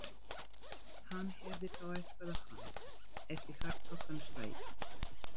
Hann hefði þá eitthvað á hann, ef í harðbakkann slægi.